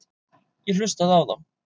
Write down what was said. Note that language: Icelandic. Ég hlustaði á þá.